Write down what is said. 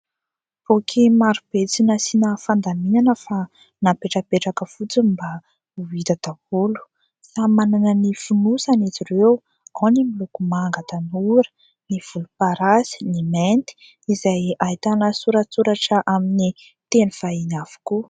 Boky maro be tsy nasiana fandaminana fa napetrapetraka fotsiny mba ho hita daholo. Samy manana ny fonosany izy ireo ao ny miloko manga tanora, ny volomparasy, ny mainty izay ahitana soratsoratra amin'ny teny vahiny avokoa.